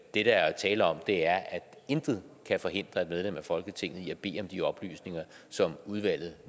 det der er tale om er at intet kan forhindre et medlem af folketinget i at bede om de oplysninger som udvalget